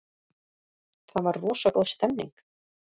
Það var rosa góð stemning.